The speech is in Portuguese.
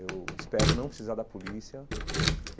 Eu espero não precisar da polícia.